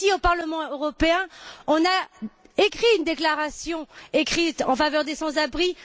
Le Parlement européen a rédigé une déclaration écrite en faveur des sans abris.